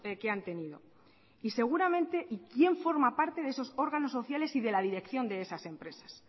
que han tenido y seguramente y quien forma parte de esos órganos sociales y de la dirección de esas empresas